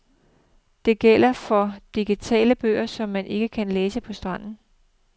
Det gælder for digitale bøger, som man ikke kan læse på stranden.